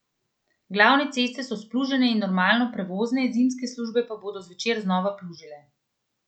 Glavne ceste so splužene in normalno prevozne, zimske službe pa bodo zvečer znova plužile.